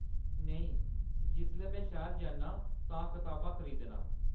नेईं, जिसलै में शहर जन्नां आं तां किताबां खरीदनां।